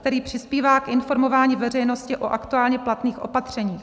, který přispívá k informování veřejnosti o aktuálně platných opatřeních.